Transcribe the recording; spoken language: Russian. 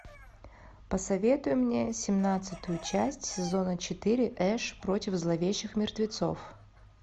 посоветуй мне семнадцатую часть сезона четыре эш против зловещих мертвецов